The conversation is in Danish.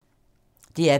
DR P2